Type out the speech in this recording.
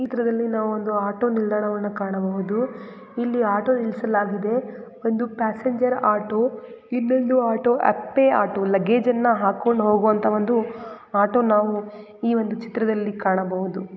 ಈ ಚಿತ್ರದಲ್ಲಿ ನಾವು ಒಂದು ಆಟೋ ನಿಲ್ದಾಣವನ್ನು ಕಾಣಬಹುದು ಇಲ್ಲಿ ಆಟೋ ನಿಲ್ಲಿಸಲಾಗಿದೆ ಒಂದು ಪ್ಯಾಸೆಂಜರ್ ಆಟೋ ಇನ್ನೊಂದು ಆಟೋ ಅತ್ತೆ ಆಟೋ ಲಗೇಜನ್ನು ಹಾಕೊಂಡು ಹೋಗುವಂತ ಒಂದು ಆಟೋನ ನಾವು ಈ ಒಂದು ಚಿತ್ರದಲ್ಲಿ ಕಾಣಬಹುದು.